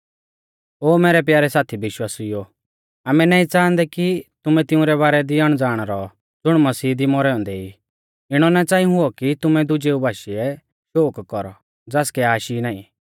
ओ मैरै प्यारै साथी विश्वासिउओ आमै नाईं च़ाहांदै कि तुमै तिंउरै बारै दी अणज़ाण रौ ज़ुण मसीह दी मौरै औन्दै ई इणौ ना च़ांई हुऔ कि तुमै दुजेऊ बाशीऐ शोक कौरौ ज़ासकै आश ई नाईं